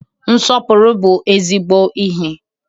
Nsọpụrụ bụ ezigbo ihe.